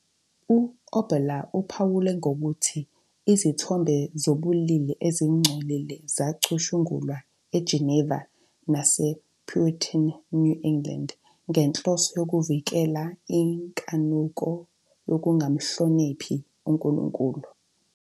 U-Oboler uphawula nokuthi izithombe zobulili ezingcolile zacutshungulwa eGeneva nasePuritan New England ngenhloso yokuvikela "inkanuko yokungamhloniphi uNkulunkulu".